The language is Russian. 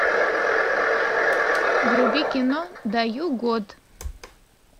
вруби кино даю год